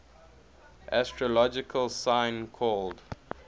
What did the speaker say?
astrological sign called